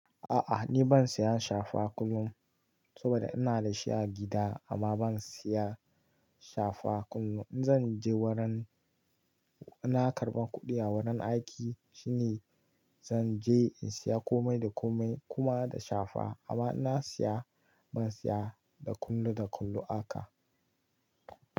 A'a ni ban saya safa kullum saboda ina da shi a gida amma ban siya safa kullum. Zan je wurin ina karɓan kuɗi a wurin aiki shine zan je in siya komai da komai kuma da safa amma ina siya ban siya da kullum da kullum haka.